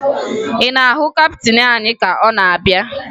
Ị na-ahụ kaptịn anyị ka ọ na-abịa?